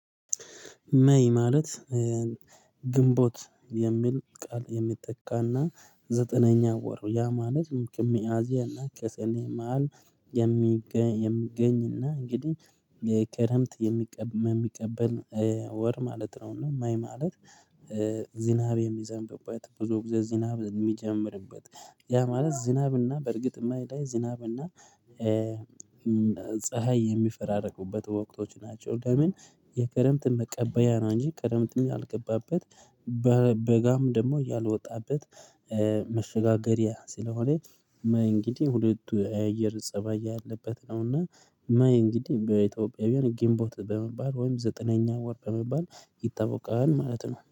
ሜይ ማለት ግንቦት የሚል ቃል የሚተካና ዘጠነኛ ወር ያ ማለት ከሚያዝያና ከሰኔ መሃል የሚገኝ የሚገኝና እንግዲህ የከረምት የሚቀበል ወር ማለት ነው። እና ሜይ ማለት ዝናብ የሚዘንብበት ብዙ ጊዜ ዝናብ የሚጀምርበት ያ ማለት ዝናብና በእርግጥ የሜይ ላይ ዝናብና እና ፀሀይ የሚፈራረቁበት ወቅቶች ናቸው። ለምን የክረምት መቀበያ ነው እንጂ ክረምትም ያልገባበት በጋም ደግሞ ያልወጣበት መሸጋገሪያ ስለሆነ ሜይ እንግዲህ ሁለቱ የአየር ፀባይ ያለበት ነውና። ሜይ እንግዲህ በኢትዮጵያውያን ግንቦት በመባል ወይም ዘጠነኛ ወር በመባል ይታወቃል ማለት ነው